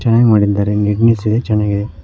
ಚೆನ್ನಾಗಿ ಮಾಡಿದ್ದಾರೆ ನೀಟ್ನೆಸ್ ಇದೆ ಚೆನ್ನಾಗಿದೆ.